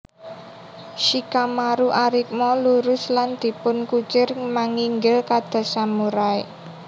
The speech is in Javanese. Shikamaru arikma lurus lan dipun kucir manginggil kados samurai